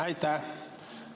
Aitäh!